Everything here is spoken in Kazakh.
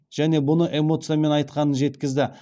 және бұны эмоциямен айтқанын жеткізді